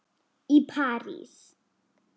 í París.